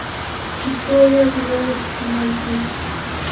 история золушки найди